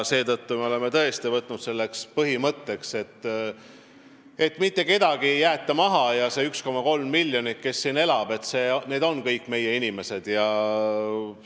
Me oleme tõesti võtnud põhimõtteks, et mitte kedagi ei jäeta maha ja kõik need 1,3 miljonit, kes siin elavad, on meie inimesed.